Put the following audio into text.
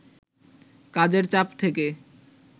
কাজের চাপ থেকে